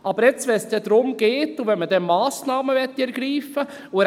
Aber jetzt, wo es darum geht und man Massnahmen ergreifen möchte …